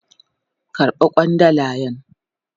Karba kwandalan.